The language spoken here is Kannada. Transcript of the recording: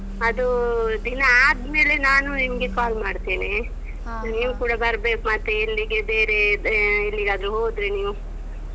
ಹ್ಮ್. ಅದು ದಿನ ಆದ್ಮೇಲೆ ನಾನು ನಿಮಗೆ call ಮಾಡ್ತೇನೆ ನೀವ್ ಕೂಡ ಬರ್ಬೇಕು ಮತ್ತೆ ಇಲ್ಲಿಗೆ ಬೇರೆ ಅಹ್ ಎಲ್ಲಿಗಾದ್ರೂ ಹೋದ್ರೆ ನೀವು?